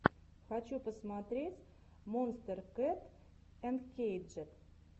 хочу посмотреть монстер кэт анкейджед